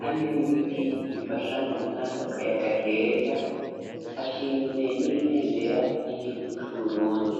hamwe n'ibiti bifasha mu gutanga akayaga keza, hashinze n'ibembera ry'igihugu c'Uburundi.